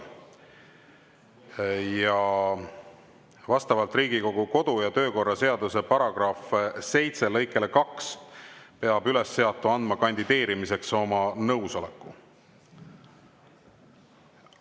Ja vastavalt Riigikogu kodu- ja töökorra seaduse § 7 lõikele 2 peab ülesseatu andma kandideerimiseks oma nõusoleku.